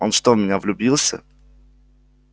он что в меня влюбился